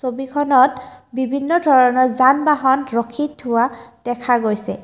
ছবিখনত বিভিন্ন ধৰণৰ যান বাহন ৰখি থোৱা দেখা গৈছে।